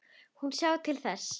Hún sjái til þess.